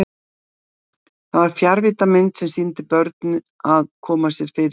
Það var fjarvíddarmynd sem sýndi börn að koma sér fyrir í skólastofunni.